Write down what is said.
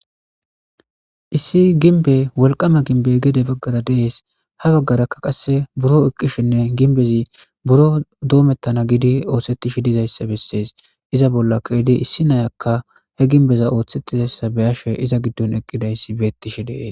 issi ginbe wolqama gimnbe gede baggara dees ha baggaraka qasse buro eqqishinne ginbezi buro doomettana gidi oothsettishi dizayssa bessees iza bollakaedi issi nayakka he ginbeza ooththettizayssa beyashe iza giddon eqqidayssi beettishi dees